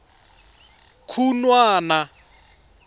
khunwana